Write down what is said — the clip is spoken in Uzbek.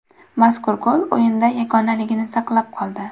Mazkur gol o‘yinda yagonalini saqlab qoldi.